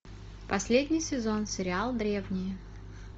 последний сезон сериал древние